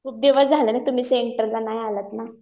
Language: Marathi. खूप दिवस झाले. तुम्ही सेंटरला नाही आल्यात ना.